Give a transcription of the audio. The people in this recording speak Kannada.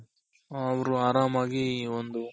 ಹ ಅವ್ರು ಆರಾಮಾಗಿ ಈ ಒಂದು